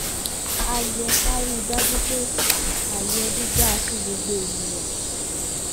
a yẹ ká rí i dájú pé ààyè ẹbí dáa fún gbogbo ènìyàn